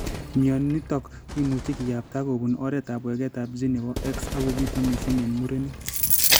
Mionitok komuchi kiyapta kobun oretab waketab gene nebo X ak kobitu mising eng' murenik